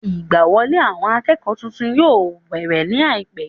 Ìgbà wọlé àwọn akẹ́kọ̀ọ́ titun yóò bẹ̀rẹ̀ ní àìpẹ́